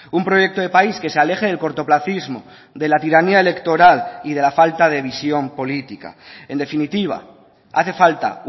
un proyecto de país que se aleje del cortoplacismo de la tiranía electoral y de la falta de visión política en definitiva hace falta